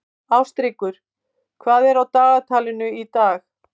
Ástríkur, hvað er á dagatalinu í dag?